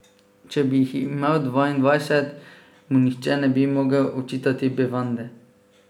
Če bi jih imel dvaindvajset mu nihče ne bi mogel očitati bevande.